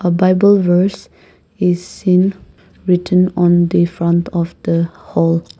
a bible verse is seen written on the front of the hall.